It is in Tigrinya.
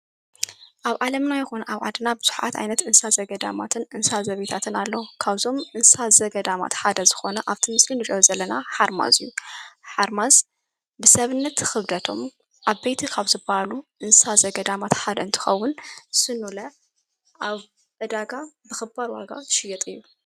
ኣብ ዓለምና ይኾነ ኣብ ዓድና ብዙኃት ኣይነት እንሣ ዘገ ዳማትን እንሣዘቤይታትን ኣለዉ ።ካውዞም እንሳዘገዳማት ሓደ ዝኾነ ኣብቲ ምስሊ ኑረወ ዘለና ሓርማዙዩ ሓርማስ ብሰብነት ኽብደቶም ኣብ ቤይቲ ኻው ዝባሉ ምንሳ ዘገዳማት ሓደ እንትኸውን ስኑለ ኣብ በዳጋ ብኽባር ዋጓ ሽየጥ እ።